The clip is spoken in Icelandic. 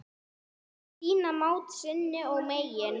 Sýna mátt sinn og megin.